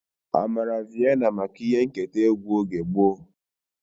Amara Viena maka ihe nketa egwu oge gboo.